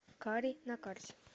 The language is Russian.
кари на карте